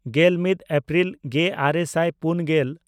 ᱜᱮᱞᱢᱤᱫ April ᱜᱮᱼᱟᱨᱮ ᱥᱟᱭ ᱯᱩᱱᱜᱮᱞ